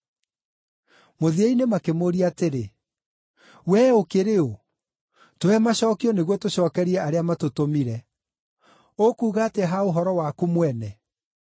Mũthia-inĩ makĩmũũria atĩrĩ, “Wee ũkĩrĩ ũ? Tũhe macookio nĩguo tũcookerie arĩa matũtũmire. Ũkuuga atĩa ha ũhoro waku mwene?”